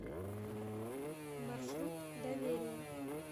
маршрут доверие